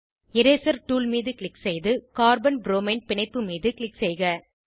eraser tool மீது click செய்து carbon bromine பிணைப்பு மீது க்ளிக் செய்க